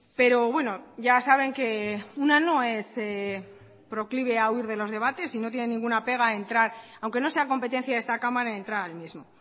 pero bueno ya saben que una no es proclive a huir de los debates y no tiene ninguna pega a entrar aunque no sea competencia de esta cámara entrar al mismo